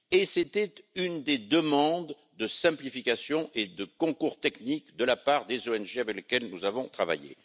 C'était là une des demandes de simplification et de concours technique de la part des ONG avec lesquelles nous avons travaillé.